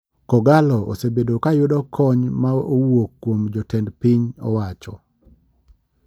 Kogallo osebedo kayudo kony ma owuok kuom jotend piny owacho.